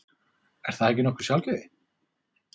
Er það ekki nokkuð sjálfgefið?